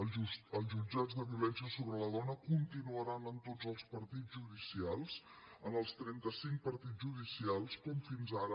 els jutjats de violència sobre la dona continuaran en tots els partits judicials en els trenta cinc partits judicials com fins ara